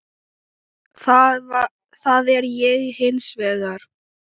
Það er ég hins vegar.